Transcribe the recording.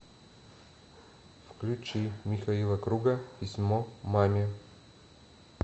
включи михаила круга письмо маме